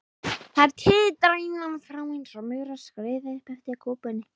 Þær titra innan frá einsog maurar skríði upp eftir kúpunni.